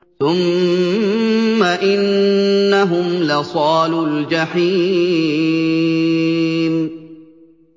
ثُمَّ إِنَّهُمْ لَصَالُو الْجَحِيمِ